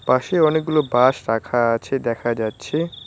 পাশে অনেকগুলো বাঁশ রাখা আছে দেখা যাচ্ছে।